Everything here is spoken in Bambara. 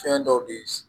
Fɛn dɔw de